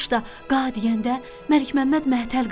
Quş da qa deyəndə Məlik Məmməd məhtəl qaldı.